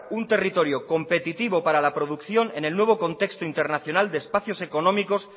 un territorio competitivo para la producción en el nuevo contexto internacional de espacios económicos